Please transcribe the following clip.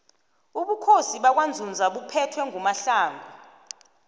ubukhosi bakwanzunza buphethwe ngumohlongu